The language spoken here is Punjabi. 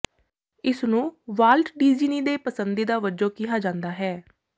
ਇਸਨੂੰ ਵਾਲਟ ਡਿਜੀਨੀ ਦੇ ਪਸੰਦੀਦਾ ਵਜੋਂ ਕਿਹਾ ਜਾਂਦਾ ਹੈ